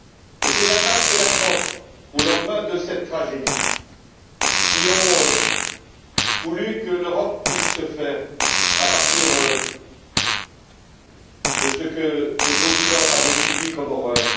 Et c'est l'Allemagne et la France, au lendemain de cette tragédie, qui ont voulu que l'Europe puisse se faire à partir de ce que le continent avait subi comme horreurs.